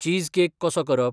Cheesecake कसो करप?